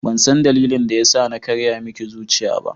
Bansan dalilin da yasa na karya miki zuciya ba.